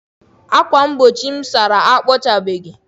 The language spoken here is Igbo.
ákwà mgbochi m sachara, akpọchabeghị.